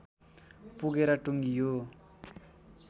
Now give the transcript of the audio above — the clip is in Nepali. पुगेर टुङ्गियो